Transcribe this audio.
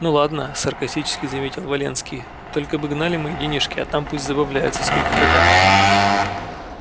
ну ладно саркастически заметил валенский только бы гнали мои денежки а там пусть забавляются сколько хотят